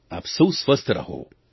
આપ સૌ સ્વસ્થ રહો